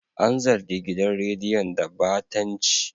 An zargi gidan rediyon da batanci.